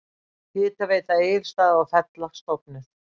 Hitaveita Egilsstaða og Fella stofnuð.